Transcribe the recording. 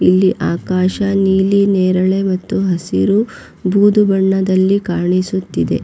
ಇಲ್ಲಿ ಆಕಾಶ ನೀಲಿ ನೇರಳೆ ಮತ್ತು ಹಸಿರು ಬೂದು ಬಣ್ಣದಲ್ಲಿ ಕಾಣಿಸುತ್ತಿದೆ.